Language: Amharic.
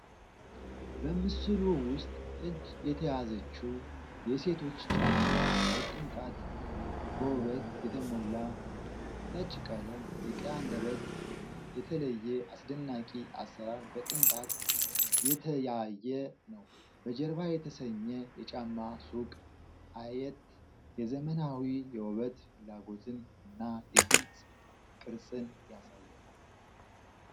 በምስሉ ውስጥ እጅ የተያዘችው የሴቶች ጫማ በቅንጣት እና በውበት የተሞላ ነው። ነጭ ቀለም፣ የቀይ አንደበት እና የተለየ አስደናቂ አሰራር በቅንጣት የተያየ ነው። በጀርባ የተሰኘ የጫማ ሱቅ አየት የዘመናዊ የውበት ፍላጎትን እና የግል ቅርጽን ያሳያል።